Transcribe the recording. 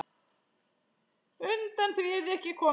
Undan því yrði ekki komist.